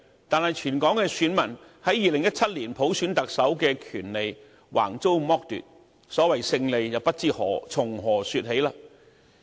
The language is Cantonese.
但是，全港選民於2017年普選特首的權利橫遭剝奪，所謂"勝利"不知從何說起。